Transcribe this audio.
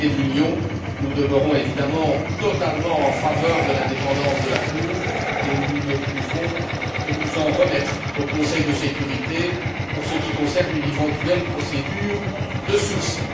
Du côté de l'Union, nous demeurons évidemment totalement en faveur de l'indépendance de la Cour et nous ne pouvons que nous en remettre au Conseil de sécurité pour ce qui concerne une éventuelle procédure de sursis.